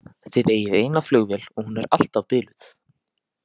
Þið eigið eina flugvél og hún er alltaf biluð!